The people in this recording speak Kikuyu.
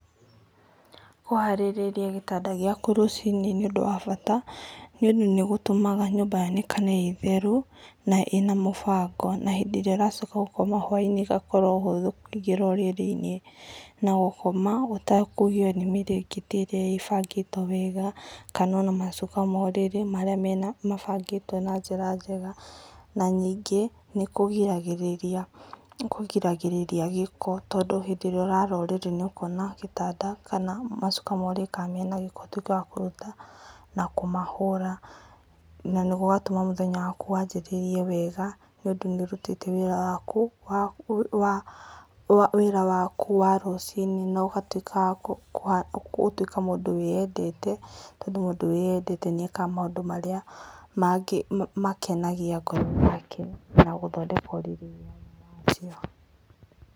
Kũharĩrĩria gĩtanda gĩaku rũcinĩ nĩ ũndũ wa bata nĩ ũndũ nĩ gũtũmaga nyũmba yonekane ĩtheru na ĩna mũbango. Na hĩndĩ ĩrĩa ũracoka gũkoma hwainĩ ĩgakorwo ũhũthũ, kũingĩra ũrĩrĩ-inĩ ũgakoma ũtekũgiyo nĩ mĩrĩngĩti ĩrĩa ĩbangĩtwo wega kana ona macuka ma ũrĩrĩ marĩa mabangĩtwo na njĩra njega. Na ningĩ nĩ kũgĩragĩrĩria gĩko tondũ hĩndĩ ĩrĩa ũrara ũrĩrĩ na ũkona gĩtanda kana macuka ma ũrĩrĩ kana mena gĩko ũtuĩke wa kũruta na kũmahũra na gũgatũma mũthenya waku wanjĩrĩrie wega nĩ ũndũ nĩ ũrutĩte wĩra waku wa rũcinĩ na ũgatuĩka mũndũ wĩyendete tondũ mũndũ wĩyendete nĩ ekaga maũndũ marĩa makenagia ngoro yake, na gũthondeka ũrĩrĩ nĩ njĩra ĩmwe ya kwĩyenda.